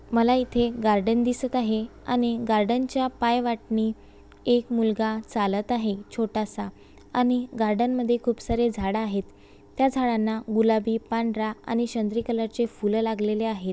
मला इथे एक गार्डन दिसत आहे आणि गार्डन च्या पायवाटणी एक मुलगा चालत आहे छोटासा आणि गार्डन मध्ये खुप सारी झाड आहेत त्या झाडांना गुलाबी पांढरा आणि शंद्री कलर ची फुले लागलेली आहेत.